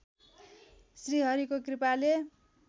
श्रीहरिको कृपाले